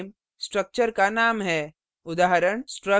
strcut _ name structure का name है